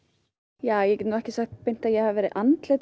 ja ég get nú ekki sagt beint að ég hafi verið andlit